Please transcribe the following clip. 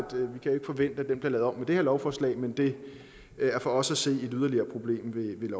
den bliver lavet om med det her lovforslag men det er for os at se et yderligere problem ved